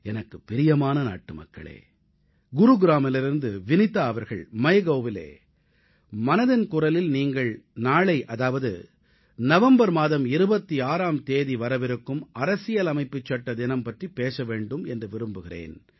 எனக்குப் பிரியமான நாட்டுமக்களே குருகிராமிலிருந்து வினிதா அவர்கள் MyGovஇலே மனதின் குரலில் நீங்கள் நாளை அதாவது நவம்பர் மாதம் 26ஆம் தேதி வரவிருக்கும் அரசியலமைப்புச் சட்ட தினம் பற்றிப் பேச வேண்டும் என்று விரும்புகிறேன்